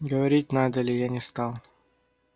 говорить надо ли я не стал